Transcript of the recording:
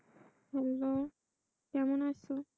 Hello কেমন আছো?